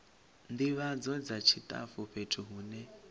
ndivhadzo dza tshitafu fhethu hune